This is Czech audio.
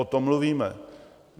O tom mluvíme.